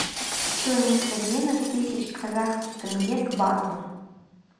стоимость обмена тысяч казахских тенге к бату